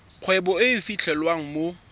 kgwebo e e fitlhelwang mo